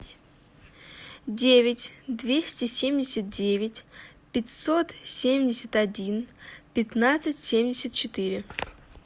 девять двести семьдесят девять пятьсот семьдесят один пятнадцать семьдесят четыре